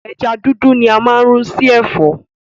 Ẹja dúdú ni a máa n rún sì Ẹ̀fọ́